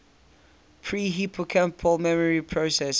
pre hippocampal memory processing